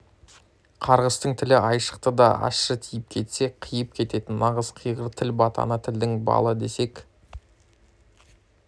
қарғыстың тілі айшықты да ащы тиіп кетсе қиып кететін нағыз қиғыр тіл батаны тілдің балы десек